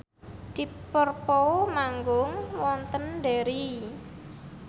deep purple manggung wonten Derry